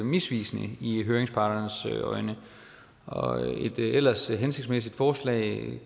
misvisende i høringsparternes øjne et ellers hensigtsmæssigt forslag